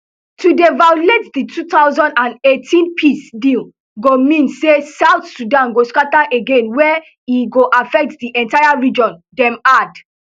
to dey violate di two thousand and eighteen peace deal go mean say south sudan go scatter again wey e go affect di entire region dem add